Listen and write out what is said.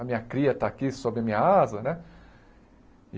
A minha cria está aqui sob a minha asa, né?